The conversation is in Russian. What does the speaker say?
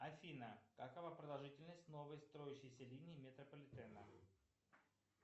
афина какова продолжительность новой строящейся линии метрополитена